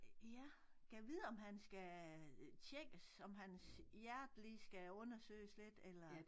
Ja gad vide om han skal tjekkes om hans hjerte lige skal undersøges lidt eller